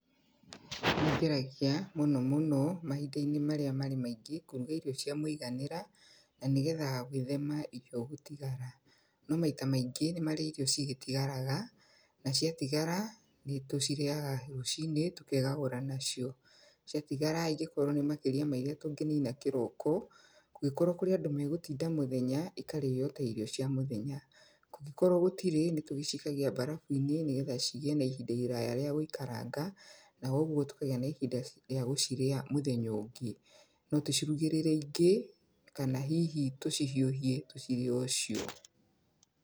Nĩ ngeragia mũno mũno mahinda-inĩ marĩa marĩ maingĩ, kũruga irio cia mũiganĩra, na nĩgetha gwĩthema irio gũtigara. No maita maingĩ nĩ marĩa irio cigĩtigaraga, na ciatigara, nĩ tũcirĩaga rũcinĩ, tũkegagũra nacio. Ciatigara angĩkorwo nĩ makĩria ma irĩa tũngĩnina kĩroko, kũngĩkorwo kũrĩ andũ megũtinda mũthenya, ikarĩo ta irio cia mũthenya. Ngũkĩrwo gũtirĩ, nĩ tũgĩcikagia mbarabu-inĩ, nĩgetha cigiĩ na ihinda iraya rĩa gũikaranga. Na ũguo tũkagĩa na ihinda rĩa gũcirĩa mũthenya ũngĩ. No tũcirugĩrĩre ingĩ, kana hihi tũcihiũhie tũcirĩe o cio.